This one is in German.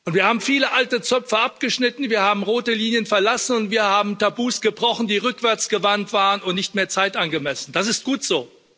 Wir haben viele alte Zöpfe abgeschnitten, wir haben rote Linien verlassen, und wir haben Tabus gebrochen, die rückwärtsgewandt waren und nicht mehr zeitgemäß. Das ist gut so.